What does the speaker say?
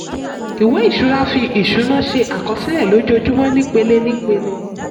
ìwé ìṣura: fi ìṣúná ṣe àkọsílẹ̀ lójoojúmọ́ nípele-nípele.